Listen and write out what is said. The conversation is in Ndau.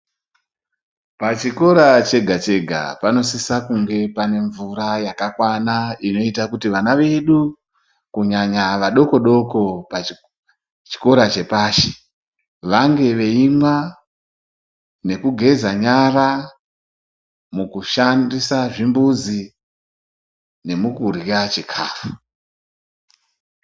Pachikora chega-chega panosisa kunge paine mvura yakakwana inoita kuti vana vedu, kunyanya vadoko-doko pachikora chepashi vange veimwa nekugeza nyara. Mukushandisa zvimbuzi, nemukurya chikafu.